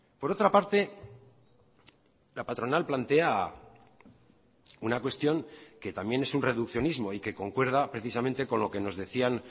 por otra parte la patronal plantea una cuestión que también es un reduccionismo y que concuerda precisamente con lo que nos decían